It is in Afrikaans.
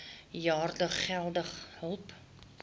jaar geldelike hulp